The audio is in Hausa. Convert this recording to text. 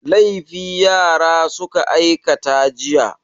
Laifi yara suka aikata jiya.